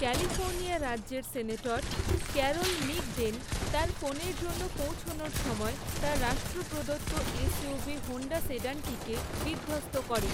California রাজ্যের senator, Carol Migden, তার ফোনের জন্য পৌঁছানোর সময় তার রাষ্ট্র প্রদত্ত এসইউভি, হোন্ডা সেডানটিকে বিধ্বস্ত করে।